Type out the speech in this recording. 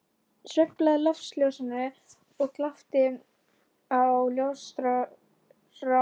Sveiflaði loftljósinu og glápti á ljósrákirnar tvístrast á gólfinu.